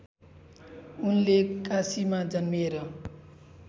उनले काशीमा जन्मिएर